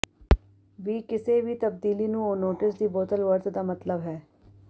ਵੀ ਕਿਸੇ ਵੀ ਤਬਦੀਲੀ ਨੂੰ ਉਹ ਨੋਟਿਸ ਦੀ ਬੋਤਲ ਵਰਤ ਦਾ ਮਤਲਬ ਹੈ